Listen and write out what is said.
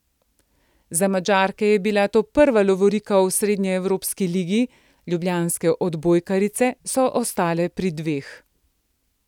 Za Madžarke je bila to prva lovorika v srednjeevropski ligi, ljubljanske odbojkarice so ostale pri dveh.